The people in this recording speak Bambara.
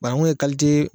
Banangun ye